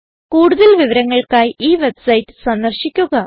കൂടുതൽ വിവരങ്ങൾക്കായി ഈ വെബ്സൈറ്റ് സന്ദർശിക്കുക